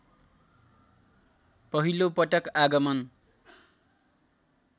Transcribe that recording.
पहिलो पटक आगमन